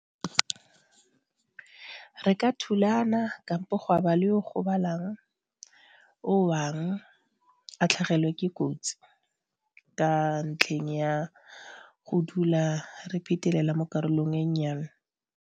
Re ka thulana kapo ba le o gobalang o a tlhagelwe ke kotsi ka ntlheng ya go dula re phetelela mo karolong e nnyane.